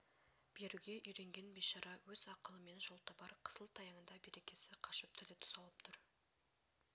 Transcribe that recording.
беруге үйренген бейшара өз ақылымен жол табар қысыл-таяңда берекесі қашып тілі тұсалып тұр